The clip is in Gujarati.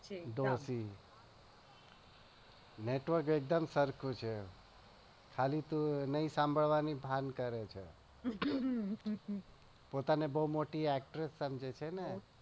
દોષલી network એકદમ સરખું છે ખાલી તું નાઈ સાંભળવાની ભાન કરે છે.